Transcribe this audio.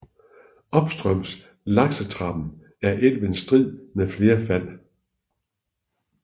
Opstrøms laksetrappen er elven strid med flere fald